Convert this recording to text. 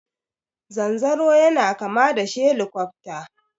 Zanzaro yana kama da shelikofta.